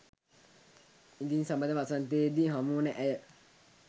ඉදින් සබඳ වසන්තයේදී හමුවන ඇය